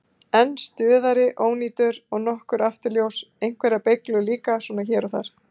Einn stuðari ónýtur og nokkur afturljós, einhverjar beyglur líka svona hér og þar.